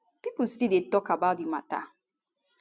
pipo still dey tok about di mata